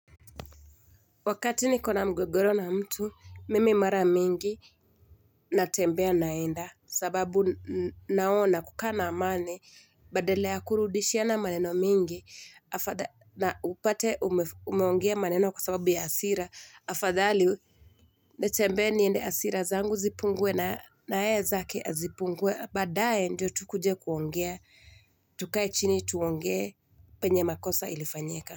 Wakati ni kona mgogoro na mtu, mimi mara mingi natembea naenda sababu naona kukana amani badala kuruudishiana maneno mingi na upate umeongea maneno kwa sababu ya asira. Afadhali nitembea niende hasira zangu zipungue na nae zake zipungue badaye ndio tukuje kuongea, tukae chini tuongea penye makosa ilifanyika.